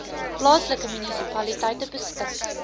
plaaslike munisipaliteite beskik